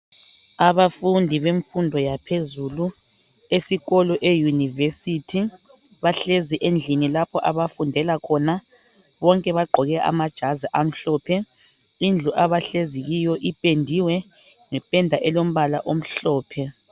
Abafundi bemfundo yaphezulu esikolo eUniversity bahlezi endlini lapho abafundela khona bonke bagqoke amajazi amhlophe. Indlu abahlezi kiyo ipendiwe ngependa elombala omhlophe.